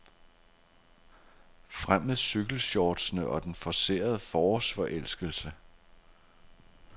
Frem med cykelshortsene og den forcerede forårsforelskelse.